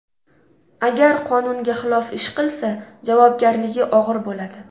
Agar qonunga xilof ish qilsa, javobgarligi og‘ir bo‘ladi.